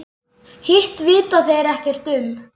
Hitt vita þeir ekkert um.